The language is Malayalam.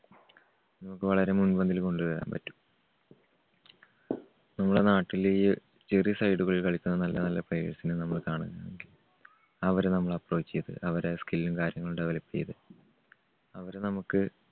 വളരെ മുൻപന്തിയിൽ കൊണ്ടുവരാൻ പറ്റും. നമ്മുടെ നാട്ടില് കളിക്കുന്ന നല്ല നല്ല players നെ നമ്മള് കാണുന്നുണ്ട്. അവരെ നമ്മള് approach ചെയ്ത് അവരുടെ skill ഉം കാര്യങ്ങളും develop ചെയ്ത് അവരെ നമ്മുക്ക്